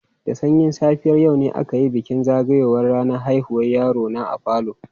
Da sanyin safiyar yau ne aka yi bikin zagayowar ranar haihuwar yaro na a falo.